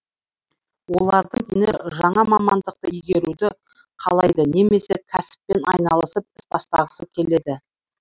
олардың дені жаңа мамандықты игеруді қалайды немесе кәсіппен айналысып іс бастағысы келеді